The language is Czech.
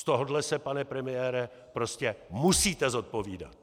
Z tohohle se, pane premiére, prostě musíte zodpovídat!